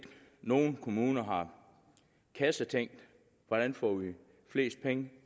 nogle kommuner har kassetænkt hvordan får vi flest penge